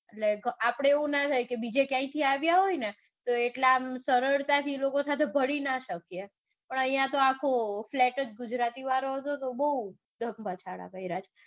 એટલે આપડે એવું કાંઈ ના થાય કે બીજે કાઇથી આવ્યા હોય ને તો એટલે સરળતાથી શકીયે. પણ આયાતો flat જ ગુજરાતી વાળો હતો તો બૌ ધમપછાડા કાર્ય છે.